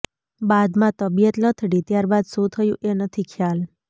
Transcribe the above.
બાદમાં તબીયત લથડી ત્યારબાદ શું થયું એ નથી ખ્યાલ